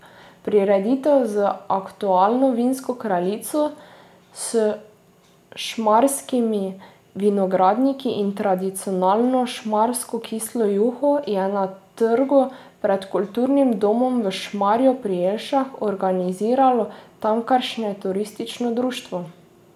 Prireditev z aktualno vinsko kraljico, s šmarskimi vinogradniki in tradicionalno šmarsko kislo juho je na trgu pred kulturnim domom v Šmarju pri Jelšah organiziralo tamkajšnje turistično društvo.